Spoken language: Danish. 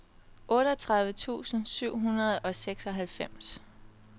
otteogtredive tusind syv hundrede og seksoghalvfems